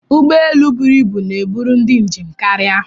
Ụgbọelu bụrụ ịbụ na-eburu ndị njem karịa.